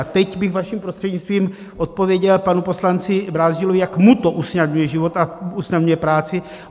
A teď bych vaším prostřednictvím odpověděl panu poslanci Brázdilovi, jak jemu to usnadňuje život a usnadňuje práci.